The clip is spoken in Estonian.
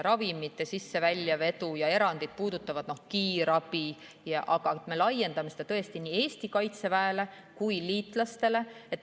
Ravimite sisse‑ ja väljaveo erandid puudutavad praegu kiirabi, aga me laiendame seda tõesti nii Eesti Kaitseväele kui ka liitlastele.